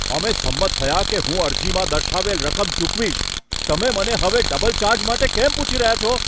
અમે સંમત થયા કે હું અરજીમાં દર્શાવેલ રકમ ચૂકવીશ. તમે મને હવે ડબલ ચાર્જ માટે કેમ પૂછી રહ્યા છો?